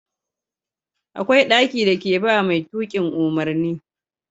Akwai ɗaki da ke ba mai tukin umarni